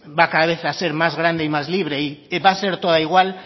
va cada vez a ser más grande y más libre va a ser toda igual